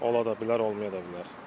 Ola da bilər, olmaya da bilər.